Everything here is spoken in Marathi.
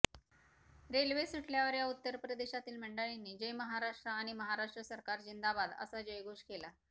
रेल्वे सुटल्यावर या उत्तर प्रदेशातील मंडळींनी जय महाराष्ट्र आणि महाराष्ट्र सरकार जिंदाबाद असा जयघोष केला